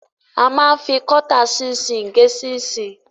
A máa ń fi kọ́tà ṣinṣin gé ṣinṣin.